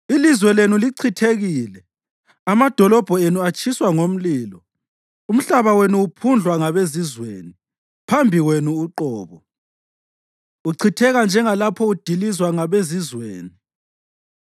Ilizwe lenu lichithekile, amadolobho enu atshiswa ngomlilo, umhlaba wenu uphundlwa ngabezizweni, phambi kwenu uqobo, uchitheka njengalapho udilizwa ngabezizweni.